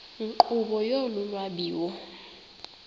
nkqubo yolu lwabiwo